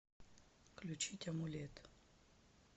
включить амулет